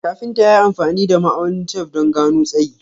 Kafinta ya yi amfani da ma'aunin tef don gano tsayi.